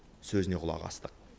сөзіне құлақ астық